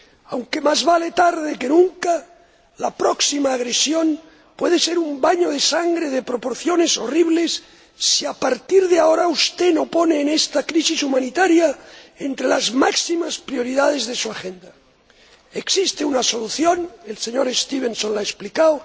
Aunque más vale tarde que nunca, la próxima agresión puede ser un baño de sangre de proporciones horribles si, a partir de ahora, usted no pone esta crisis humanitaria entre las máximas prioridades de su agenda. Existe una solución el señor Stevenson la ha explicado